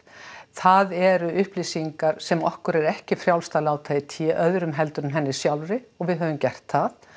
það eru upplýsingar sem okkur er ekki frjálst að láta í té öðrum heldur en henni sjálfri og við höfum gert það